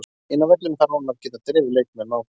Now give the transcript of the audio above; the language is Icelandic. Inni á vellinum þarf hann að geta drifið leikmenn áfram.